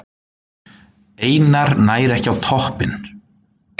Einar nær ekki á toppinn